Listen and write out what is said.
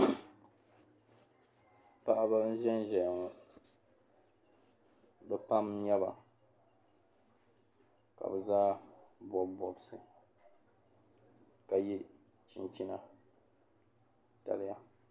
Paɣaba n-ʒen ʒeya ŋɔ be pam n-nyɛba ka be zaa bɔbu bɔbisi ka ye chinchina daliya.